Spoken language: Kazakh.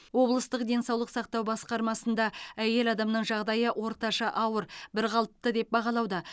облыстық денсаулық сақтау басқармасында әйел адамның жағдайы орташа ауыр бірқалыпты деп бағалауда